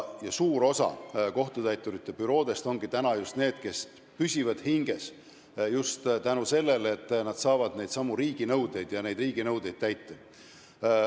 Suur osa kohtutäiturite büroodest püsivad hinges just tänu sellele, et nad saavad neidsamu riiginõudeid täita.